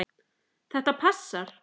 Þetta passar.